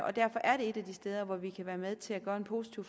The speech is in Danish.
og derfor er det et af de steder hvor vi kan være med til at gøre en positiv